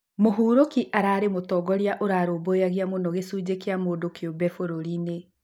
Mũburuki ararĩ mũtongoria ũrarũmbũyagia mũno gĩcunjĩ kĩa mũndũkĩũmbe bũrũrĩnĩ.